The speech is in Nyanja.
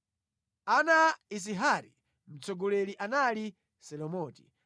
Ana a Izihari: Mtsogoleri anali Selomiti.